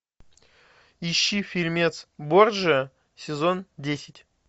ищи фильмец борджиа сезон десять